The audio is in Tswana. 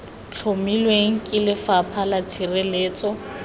tlhomilweng ke lefapha la tshireletso